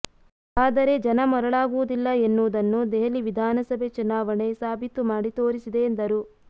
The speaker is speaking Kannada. ಆದರೆ ಜನ ಮರುಳಾಗುವುದಿಲ್ಲ ಎನ್ನುವುದನ್ನು ದೆಹಲಿ ವಿಧಾನಸಭೆ ಚುನಾವಣೆ ಸಾಬೀತು ಮಾಡಿ ತೋರಿಸಿದೆ ಎಂದರು